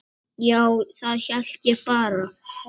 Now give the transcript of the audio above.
Já, það held ég bara.